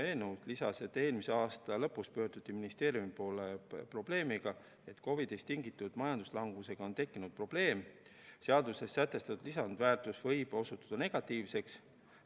Ta lisas, et eelmise aasta lõpus pöörduti ministeeriumi poole probleemiga, et COVID‑ist tingitud majanduslanguse tõttu on tekkinud probleem, et seaduses sätestatud lisandväärtus võib osutuda negatiivseks.